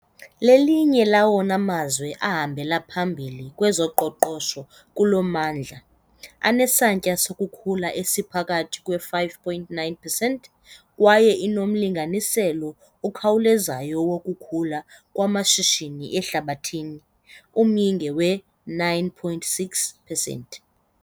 Lelinye lawona mazwe ahambele phambili kwezoqoqosho kulo mmandla, anesantya sokukhula esiphakathi kwe-5.9 percent, kwaye inomlinganiselo okhawulezayo wokukhula kwamashishini ehlabathini, umyinge we-9.6 percent.